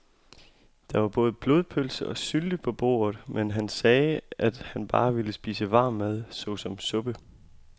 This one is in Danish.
Der var både blodpølse og sylte på bordet, men han sagde, at han bare ville spise varm mad såsom suppe.